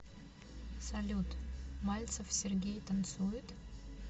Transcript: салют мальцев сергей танцует